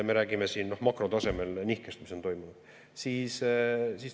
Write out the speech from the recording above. Me räägime siin makrotasemel nihkest, mis on toimunud.